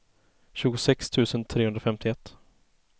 tjugosex tusen trehundrafemtioett